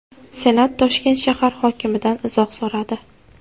Senat Toshkent shahar hokimidan izoh so‘radi.